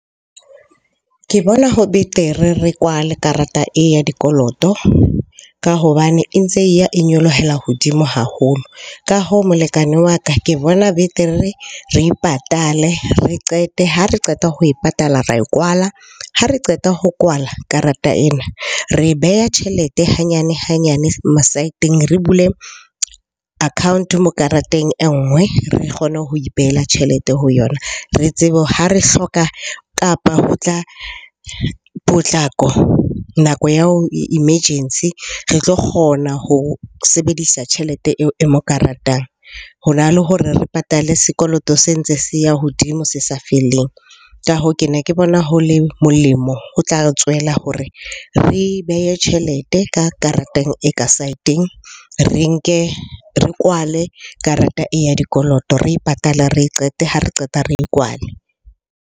Ke bona ho betere re kwale karata e ya dikoloto ka hobane e ntse e ya e nyolohelang hodimo haholo. Ka hoo molekane wa ka ke bona betere re e patale, re qete. Ha re qeta ho e patala, ra e kwala. Ha re qeta ho kwala karata ena, re e beha tjhelete hanyane-hanyane ma side-eng re bule account-o mo kareteng e nngwe re kgone ho ipehela tjhelete ho yona. Re tsebe ha re hloka kapa ho tla potlako, nako ya ho emergency re tlo kgona ho sebedisa tjhelete eo karatang. Ho na le hore re patale sekoloto se ntse se ya hodimo se sa feleng. Ka hoo, ke ne ke bona ho le molemo ho tla re tswela hore re behe tjhelete ka karatang e ka side-eng. Re nke, re kwale karata ya dikoloto. Re e patale, re e qete. Ha re qeta re e kwale.